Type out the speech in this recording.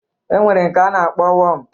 E nwere nke a na-akpọ wọm